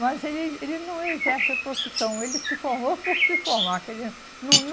Mas ele ele não exerce a profissão, ele se formou por se formar. Quer dizer, não